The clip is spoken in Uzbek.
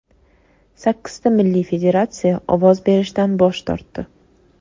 Sakkizta milliy federatsiya ovoz berishdan bosh tortdi.